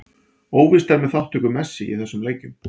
Óvíst er með þátttöku Messi í þessum leikjum.